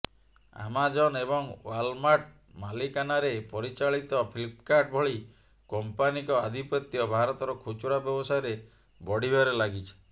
Amazon ଏବଂ Walmart ମାଲିକାନାରେ ପରିଚାଳିତ ଫ୍ଲିପକାର୍ଟ ଭଳି କମ୍ପାନୀଙ୍କ ଆଧିପତ୍ୟ ଭାରତର ଖୁଚୁରା ବ୍ୟବସାୟରେ ବଢ଼ିବାରେ ଲାଗିଛି